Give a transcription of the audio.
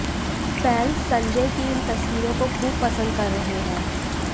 fans Sanjay की इन तस्वीरों को खूब पसंद कर रहे हैं